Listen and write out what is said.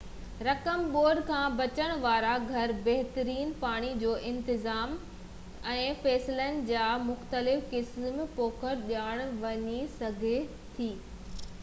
رقم ٻوڏ کان بچڻ وارا گهر بهترين پاڻي جو انتظام ۽ فصلن جا مختلف قسم پوکڻ ڏانهن وڃي سگهي ٿي